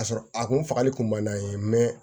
K'a sɔrɔ a kun fagali kun man d'an ye